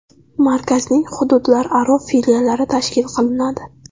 Markazning hududlararo filiallari tashkil qilinadi.